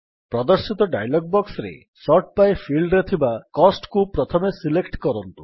ପ୍ରଦର୍ଶିତ ଡାୟଲଗ୍ ବକ୍ସରେ sort by ଫିଲ୍ଡରେ ଥିବା Costକୁ ପ୍ରଥମେ ସିଲେକ୍ଟ କରନ୍ତୁ